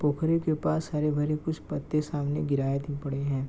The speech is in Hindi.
पोखरे के पास हरे भरे कुछ पत्ते सामने गिराए के पड़े हैं |